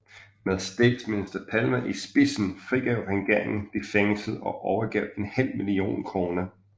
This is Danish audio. Med statsminister Palme i spidsen frigav regeringen de fængslede og overgav en halv million kroner